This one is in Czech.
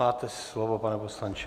Máte slovo, pane poslanče.